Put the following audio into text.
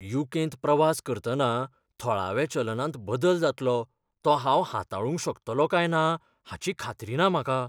You. कें.त प्रवास करतना थळाव्या चलनांत बदल जातलो तो हांव हाताळूंक शकतलों काय ना हाची खात्री ना म्हाका.